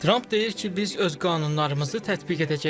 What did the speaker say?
Tramp deyir ki, biz öz qanunlarımızı tətbiq edəcəyik.